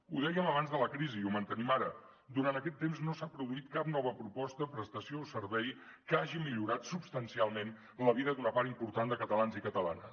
ho dèiem abans de la crisi i ho mantenim ara durant aquest temps no s’ha produït cap nova proposta prestació o servei que hagi millorat substancialment la vida d’una part important de catalans i catalanes